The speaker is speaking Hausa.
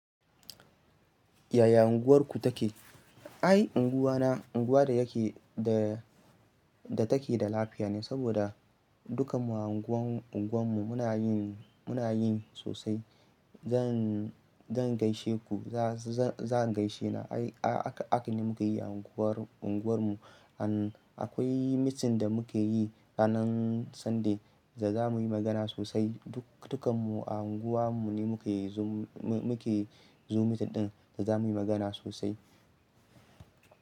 Yaya unguwarku take? Ai, unguwana, unguwa da yake, da take da lafiya ne saboda dukanmu a unguwan, unguwarmu muna yin, muna yin sosai. Zan, zan gaishe ku, za-zan gaishe na. Ai, aka, aka ne muki yi a unguwar, unguwarmu. And akwai mitin da mukeyi ranan Sunday da zamuyi magana sosai. Duk, dukanmu a unguwa mu ne muke yi zoom, muke yi zoom meeting ɗin da za mu yi magana sosai.